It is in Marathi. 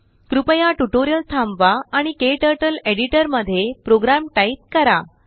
कृपयाट्यूटोरियल थांबवा आणिKTurtleएडिटरमध्ये प्रोग्राम टाईप करा